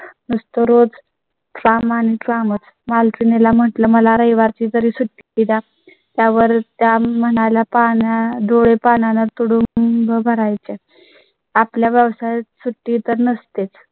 नसतो रोज कामांचा मग मालकिणी ला म्हटलं मला रविवार ची सुट्टी द्या त्यावर त्या म्हणाल्या पाहण्या डोळे पानात कडून भरायचं. आपल्या व्यवसाय सुट्टी तर नसतेच